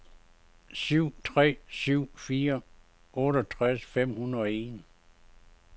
syv tre syv fire otteogtres fem hundrede og en